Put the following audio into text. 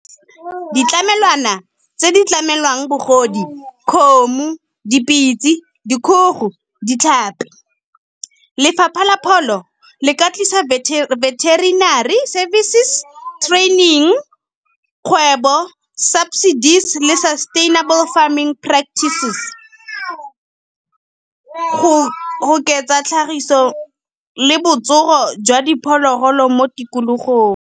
Ditlamelwana tse di tlamelwang bagodi kgomo, dipitsi, dikgogo, ditlhapi. Lefapha la pholo le ka tlisa veterinary services training, kgwebo subsidies le sa sustainable farming practices. Go oketsa tlhagiso le botsogo jwa diphologolo mo tikologong.